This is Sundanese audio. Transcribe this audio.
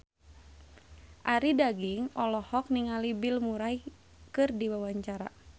Arie Daginks olohok ningali Bill Murray keur diwawancara